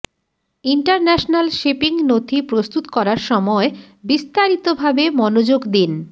international shipping নথি প্রস্তুত করার সময় বিস্তারিতভাবে মনোযোগ দিন